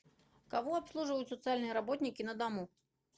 кого обслуживают социальные работники на дому